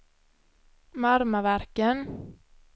Marmaverken